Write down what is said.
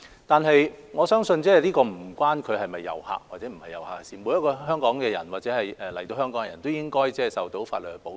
不過，我相信這與他是否遊客無關，每個香港人或來港的人士都應該受到法律保障。